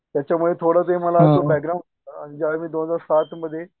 त्याच्यामुळे थोडं ते मला असं बॅग्राऊंड ज्यावेळी मी दोन हजार सातमध्ये